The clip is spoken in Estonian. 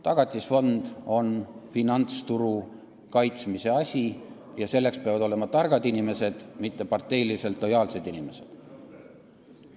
Tagatisfond on finantsturu kaitsmise vahend ja seal peavad olema targad inimesed, mitte parteiliselt lojaalsed inimesed.